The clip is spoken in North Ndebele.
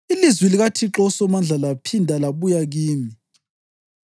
Ilizwi likaThixo uSomandla laphinda labuya kimi.